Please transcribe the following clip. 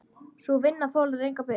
Sú vinna þolir enga bið.